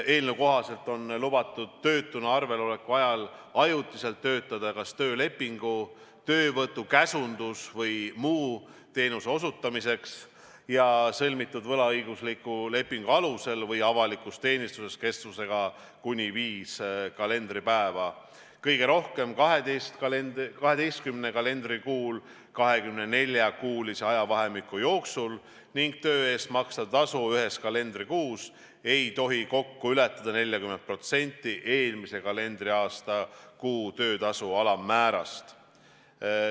Eelnõu kohaselt on lubatud töötuna arvel oleku ajal ajutiselt töötada kas töölepingu, töövõtu-, käsundus- või muu teenuse osutamiseks sõlmitud võlaõigusliku lepingu alusel või avalikus teenistuses kestusega kuni viis kalendripäeva kõige rohkem 12 kalendrikuul 24-kuulise ajavahemiku jooksul ning töö eest makstav tasu ühes kalendrikuus ei tohi kokku ületada 40% eelmise kalendriaasta kuu töötasu alammäärast.